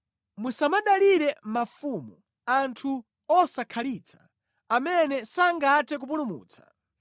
Musamadalire mafumu, anthu osakhalitsa, amene sangathe kupulumutsa.